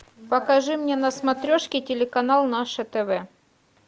покажи мне на смотрешке телеканал наше тв